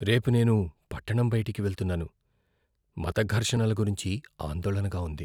రేపు నేను పట్టణం బయటికి వెళ్తున్నాను, మత ఘర్షణల గురించి ఆందోళనగా ఉంది.